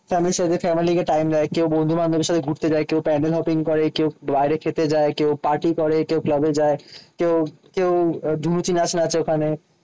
স্বামীর সাথে ফ্যামিলিকে টাইম দেয়। লাগে কেউ বন্ধু-বান্ধবের সাথে ঘুরতে যায়। কেউ প্যান্ডেল করে। কেউ বাইরে খেতে যায়। কেউ পার্টি করে। কেউ ক্লাবে যায়। কেউ কেউ ধুনুচি নাচ নাচে ওখানে।